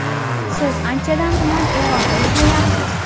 Siz anchadan buyon Eronda ishlayapsiz.